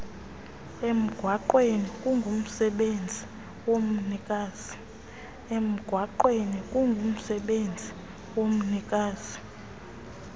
emgwaqweni kungumsebenzi womnikazi